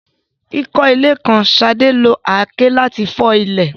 Kíkọ́ ilé kan, Sade lo àáké láti fọ́ ilẹ̀.